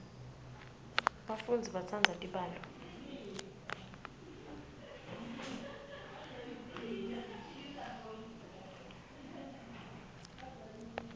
bafundzi batsandza tibalo